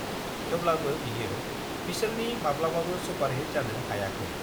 थेवब्लाबो बियो बिसोरनि माब्लाबाबो सुपारहिट जानो हायाखै।